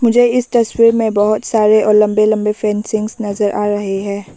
मुझे इस तस्वीर में बहुत सारे और लंबे लंबे फैंसिंग्स नजर आ रहे है।